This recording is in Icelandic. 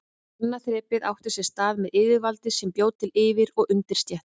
Annað þrepið átti sér stað með yfirvaldi sem bjó til yfir- og undirstétt.